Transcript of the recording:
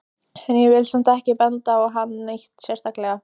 En ég vil samt ekki benda á hann neitt sérstaklega.